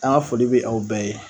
An ga foli be aw bɛɛ ye